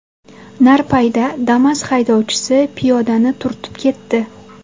Narpayda Damas haydovchisi piyodani turtib ketdi.